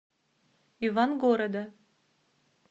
ивангорода